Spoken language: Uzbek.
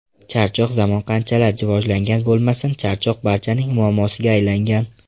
Charchoq Zamon qanchalar rivojlangan bo‘lmasin, charchoq barchaning muammosiga aylangan.